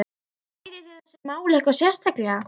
Ræðið þið þessi mál eitthvað sérstaklega?